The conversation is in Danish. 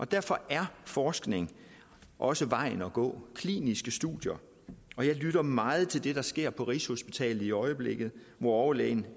derfor er forskning også vejen at gå kliniske studier jeg lytter meget til det der sker på rigshospitalet i øjeblikket hvor overlæge